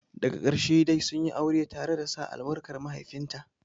Daga ƙarshe dai sunyi aure tare da sa albarkar mahaifinta.